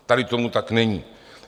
Tady tomu tak není.